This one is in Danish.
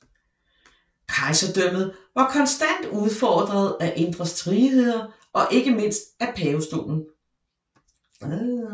Kejserdømmet var konstant udfordret af indre stridigheder og ikke mindst af pavestolen